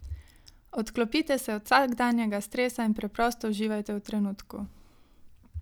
Odklopite se od vsakdanjega stresa in preprosto uživajte v trenutku.